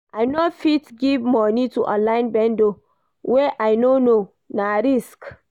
I no fit give moni to online vendor wey I no know, na risk.